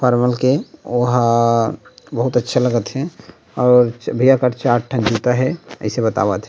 परवल के ओहा बहुत अच्छा लगत हे और च भईया कर चार ठन जूता हे अइसे बतावत हे।